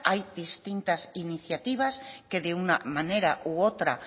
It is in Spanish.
hay distintas iniciativas que de una manera u otra